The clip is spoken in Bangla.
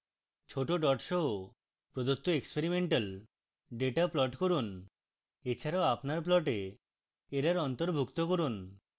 ছোট ডট সহ প্রদত্ত এক্সপেরিমেন্টাল ডেটা প্লট করুন